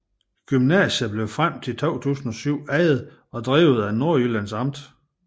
Gymnasiet blev frem til 2007 ejet og drevet af Nordjyllands Amt